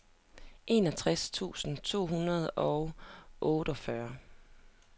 enogtres tusind to hundrede og otteogfyrre